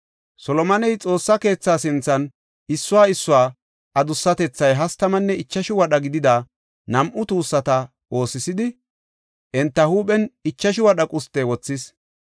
Solomoney Xoossa keethaa sinthan issuwa issuwa adussatethay hastamanne ichashu wadha gidida nam7u tuussata oosisidi, enta huuphen ichashu wadha gumbota wothis.